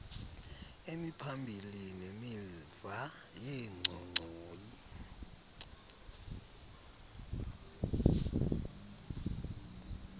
imiphambili nemiva yenchochoyi